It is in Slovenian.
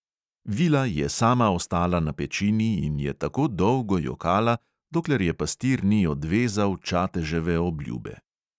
Vila je sama ostala na pečini in je tako dolgo jokala, dokler je pastir ni odvezal čateževe obljube.